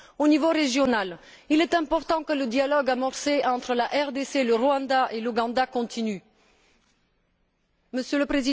Au niveau régional, il importe que le dialogue amorcé entre la RDC, le